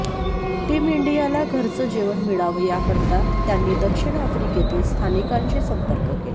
team इंडियाला घरचं जेवण मिळावं याकरता त्यांनी दक्षिण आफ्रिकेतील स्थानिकांशी संपर्क केला